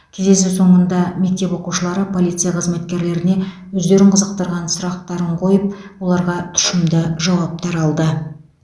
кездесу соңында мектеп оқушылары полиция қызметкерлеріне өздерін қызықтырған сұрақтарын қойып оларға тұщымды жауаптар алды